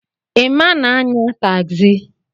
Emma na-anya tagzi.